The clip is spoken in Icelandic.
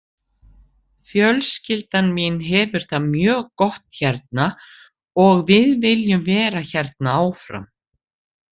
Fjölskyldan mín hefur það mjög gott hérna og við viljum vera hérna áfram.